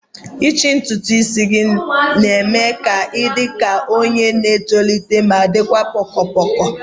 ichi ntutu isi gị na-eme ka ị dị ka onye na-etolite ma dịkwa poko poko